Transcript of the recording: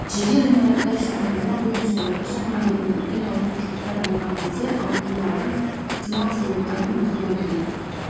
жеке ғимараттар үшін таңдама бойынша орташа мәндерінен үлкен ауытқушылықтар болған кезде ауытқулардың ықтимал себептерін нақтылау керек